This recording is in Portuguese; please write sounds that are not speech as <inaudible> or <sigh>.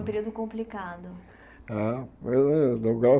Foi um período complicado. Eh <unintelligible>